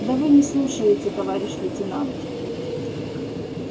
да вы не слушаете товарищ лейтенант